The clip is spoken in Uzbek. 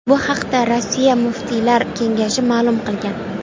Bu haqda Rossiya muftiylar kengashi ma’lum qilgan .